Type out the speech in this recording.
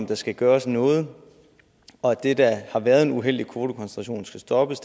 der skal gøres noget og at det der har været en uheldig kvotekoncentration skal stoppes